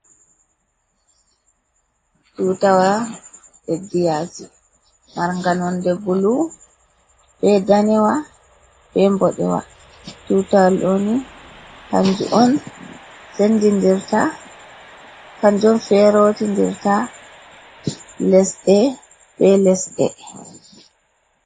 Tutawa ledi yasi marnga nonde bulu, be danewa, be boɗewa. Tutawal ɗo ni kanjum on ferotindirta lesɗe be lesɗe.